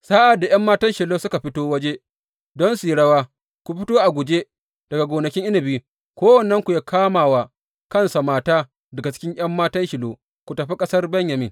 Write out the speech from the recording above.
Sa’ad da ’yan matan Shilo suka fito waje don su yi rawa, ku fito a guje daga gonakin inabi, kowannenku yă kama wa kansa mata daga cikin ’yan matan Shilo, ku tafi ƙasar Benyamin.